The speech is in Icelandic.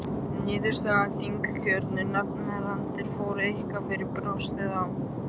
Niðurstaða þingkjörnu nefndarinnar fór eitthvað fyrir brjóstið á